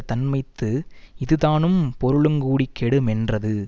தன்மைத்து இது தானும் பொருளுங் கூடிக் கெடு மென்றது